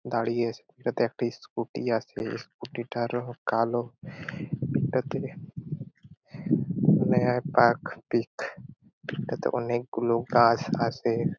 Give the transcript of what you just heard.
দাঁড়িয়ে আছে একটা স্কুটি আছে এই স্কুটি -টার রং কালো এটাতে এটাতে অনেকগুলো গাছ আছে ।